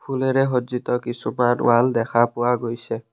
ফুলেৰে সজ্জিত কিছুমান ৱাল দেখা পোৱা গৈছে।